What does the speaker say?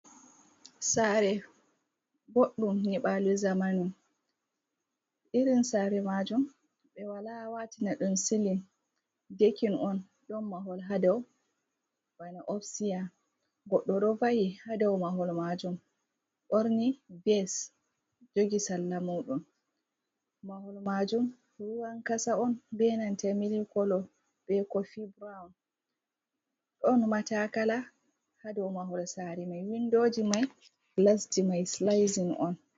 Sare bodɗum nyibalo zamanu, irin sare majum ɓe wala watina ɗum silin dekin on, ɗon mahol hadou ba ofteya. Godɗo ɗo va'i ha dau mahol majum ɓorni ves jogi sallamuɗum, mahol majum ruwan kasa on be mili kolo be kofi burawun ɗon matakala hadau mahol sari mai, windoji mai gilasji mai Silaizi'on.